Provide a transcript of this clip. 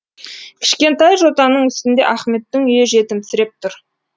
кішкентай жотаның үстінде ахметтің үйі жетімсіреп тұр